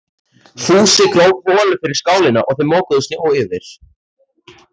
Fúsi gróf holu fyrir skálina og þau mokuðu snjó yfir.